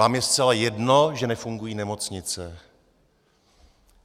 Vám je zcela jedno, že nefungují nemocnice?